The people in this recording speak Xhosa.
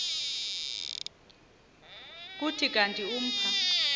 kuthi kanti umpha